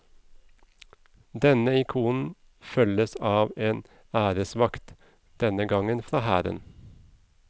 Denne ikonen følges av en æresvakt, denne gang fra hæren.